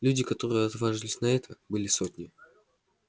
людей которые отваживались на это были сотни